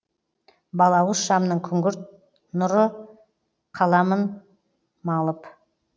балауыз шамның күңгірт нұры қаламын малып